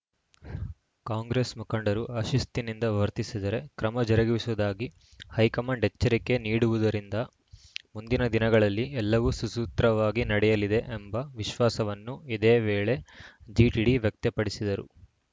ಕಾಂಗ್ರೆಸ್‌ ಮುಖಂಡರು ಅಶಿಸ್ತಿನಿಂದ ವರ್ತಿಸಿದರೆ ಕ್ರಮ ಜರುಗಿಸುವುದಾಗಿ ಹೈಕಮಾಂಡ್‌ ಎಚ್ಚರಿಕೆ ನೀಡಿರುವುದರಿಂದ ಮುಂದಿನ ದಿನಗಳಲ್ಲಿ ಎಲ್ಲವೂ ಸುಸೂತ್ರವಾಗಿ ನಡೆಯಲಿದೆ ಎಂಬ ವಿಶ್ವಾಸವನ್ನು ಇದೇ ವೇಳೆ ಜಿಟಿಡಿ ವ್ಯಕ್ತಪಡಿಸಿದರು